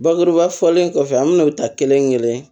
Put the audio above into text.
Bakuruba fɔlen kɔfɛ an bɛ n'o ta kelen kelen